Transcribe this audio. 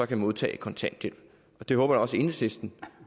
kan modtage kontanthjælp det håber jeg også at enhedslisten